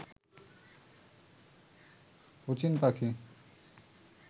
অচিন পাখি